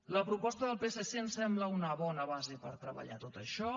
la proposta del psc em sembla una bona base per treballar tot això